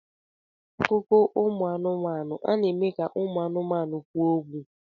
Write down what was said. N'akụkọ ụmụ anụmanụ, a na-eme ka ụmụ anụmanụ kwuo okwu.